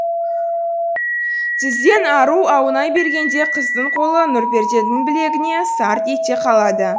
тізден ару аунай бергенде қыздың қолы нұрперзенттің білегіне сарт ете қалады